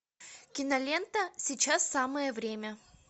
кинолента сейчас самое время